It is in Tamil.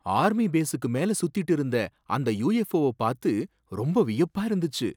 ஆர்மி பேஸுக்கு மேல சுத்திட்டு இருந்த அந்த யூஎஃப்ஓவ பாத்து ரொம்ப வியப்பா இருந்துச்சு.